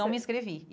Não me inscrevi.